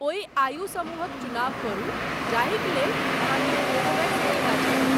ओहि आयु समूहक चुनाव करू जाहिक लेल अहाँकेँ कोवोवेक्स टीका चाही।